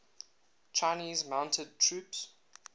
chinese mounted troops